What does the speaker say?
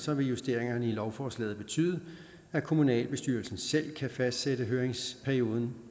vil justeringerne i lovforslaget betyde at kommunalbestyrelsen selv kan fastsætte høringsperioden